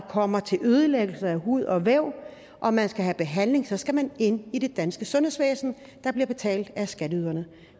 kommer til ødelæggelse af hud og væv og man skal have behandling så skal man ind i det danske sundhedsvæsen der bliver betalt af skatteyderne